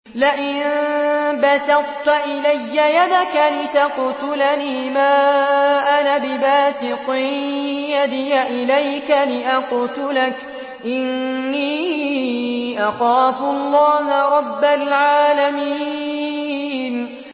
لَئِن بَسَطتَ إِلَيَّ يَدَكَ لِتَقْتُلَنِي مَا أَنَا بِبَاسِطٍ يَدِيَ إِلَيْكَ لِأَقْتُلَكَ ۖ إِنِّي أَخَافُ اللَّهَ رَبَّ الْعَالَمِينَ